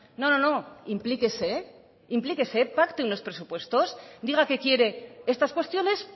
no no no implíquese implíquese pacten los presupuestos diga que quiere estas cuestiones